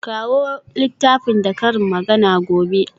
Kawo littafin da karin magana gobe.